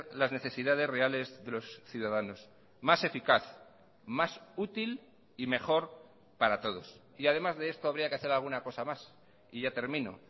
las necesidades reales de los ciudadanos más eficaz más útil y mejor para todos y además de esto habría que hacer alguna cosa más y ya termino